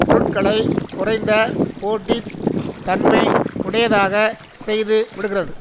பொருட்களை குறைந்த போட்டி தன்மை உடையதாக செய்துவிடுகிறது